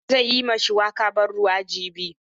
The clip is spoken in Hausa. Hassan zai yi ma shuwaka ban ruwa jibi.